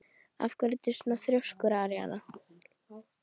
Af hverju ertu svona þrjóskur, Aríana?